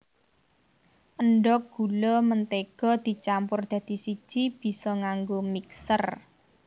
Endhog gula mentega dicampur dadi siji bisa nganggo mixer